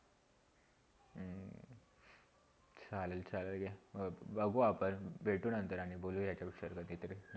चालेल चालेलया बघू आपण भेटूना नंतर आणि बोलू यह विषया कधीतरी